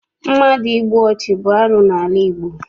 Mmadụ ịgbụ ọchụ bụ arụ n'ala Igbo.